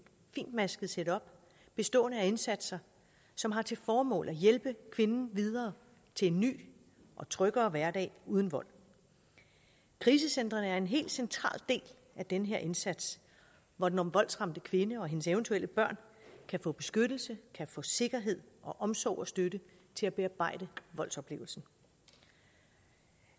fintmasket setup bestående af indsatser som har til formål at hjælpe kvinden videre til en ny og tryggere hverdag uden vold krisecentrene er en helt central del af den her indsats hvor den voldsramte kvinde og hendes eventuelle børn kan få beskyttelse kan få sikkerhed og omsorg og støtte til at bearbejde voldsoplevelsen